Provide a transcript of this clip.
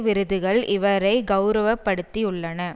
விருதுகள் இவரை கௌரவப்படுத்தியுள்ளன